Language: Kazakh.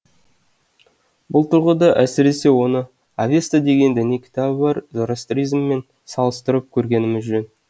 бұл тұрғыда әсіресе оны авеста деген діни кітабы бар зороастризммен салыстырып көргеніміз жөн